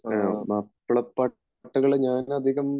മാപ്പിളപ്പാട്ടുകൾ ഞാനധികം